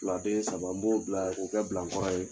saba n b'o bila k'o kɛ bilankɔrɔ ye.